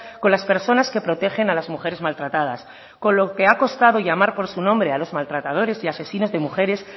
con las personas que protegen a las mujeres maltratadas con lo que ha costado llamar por su nombre a los maltratadores y asesinos de mujeres